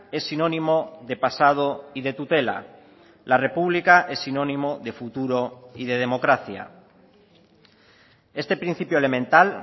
es sinónimo de pasado y de tutela la república es sinónimo de futuro y de democracia este principio elemental